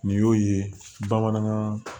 Nin y'o ye bamanankan